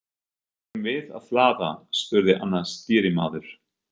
Eigum við að hlaða? spurði annar stýrimaður.